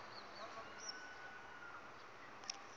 sigcawu